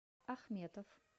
ахметов